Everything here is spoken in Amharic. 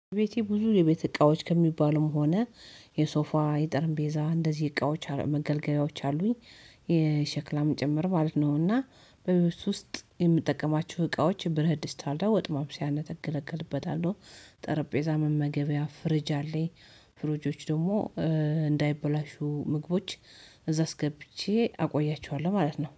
ቤቴ ብዙ የቤት እቃዎች ከሚባሉም ሆነ የሶፋ የጠርንጴዛ እንደዚህ እቃዎች መገልገያዎች አሉኝ የሸክላም ጭምር ማለት ነው። እና በቤተሰብ ውስጥ የምጠቀማችሁ እቃዎች ብርትድስት ታርዳ ወጥ ማብሰያ የምገልገልበት አለሁ። ጠረጴዛ መመገቢያ ፍርጅ አለኝ። ፍርጆች ደግሞ እንዳይበላሹ ምግቦች እዛስ ገብቼ አቆያቸዋለሁ ማለት ነው